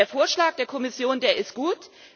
Der Vorschlag der Kommission, der ist gut.